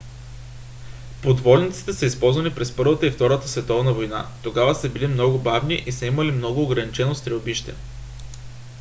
подводниците са използвани през първата и втората световна война. тогава са били много бавни и са имали много ограничено стрелбище